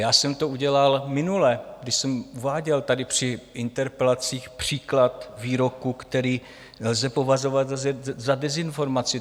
Já jsem to udělal minule, když jsem uváděl tady při interpelacích příklad výroku, který lze považovat za dezinformaci.